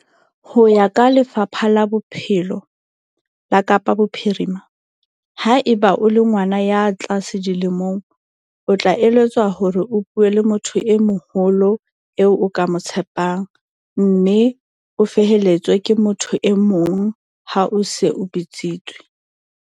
Ho ya ka Lefapha la Bophelo la Kapa Bophirima, haeba o le ngwana ya tlase dilemong, o tla eletswa hore o bue le motho e moholo eo o ka mo tshepang, mme o felehetswe ke motho e mong ha o se o bitsitswe.